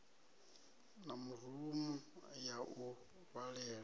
na rumu ya u vhalela